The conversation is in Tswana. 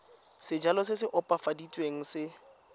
sejalo se se opafaditsweng se